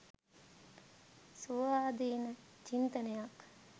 ස්වාධීන චින්තනයක්.